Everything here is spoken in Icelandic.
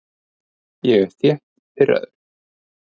Ég er þétt pirraður.